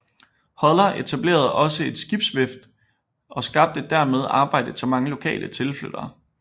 Holler etablerede også et skibsvæft og skabte dermed arbejde til mange lokale og tilflyttere